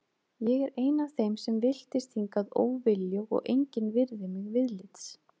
Ég er ein af þeim sem villtist hingað óviljug og engin virðir mig viðlits.